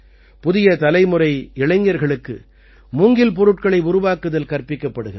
புதிய தலைமுறை இளைஞர்களுக்கு மூங்கில் பொருட்களை உருவாக்குதல் கற்பிக்கப்படுகிறது